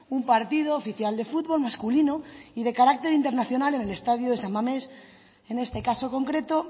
un partido oficial de futbol masculino y de carácter internacional en el estadio de san mamés en este caso concreto